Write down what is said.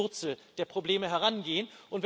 Man muss an die Wurzel der Probleme herangehen.